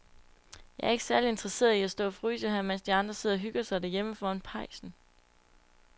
Jeg er ikke særlig interesseret i at stå og fryse her, mens de andre sidder og hygger sig derhjemme foran pejsen.